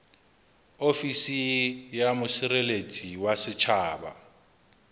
ofisi ya mosireletsi wa setjhaba